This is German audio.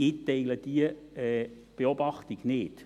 Ich teile diese Beobachtung nicht.